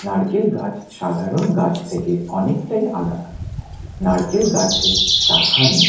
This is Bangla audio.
নারকেল গাছ সাধারণ গাছ থেকে অনেকটাই আলাদা। নারকেল গাছে শাখা নেই।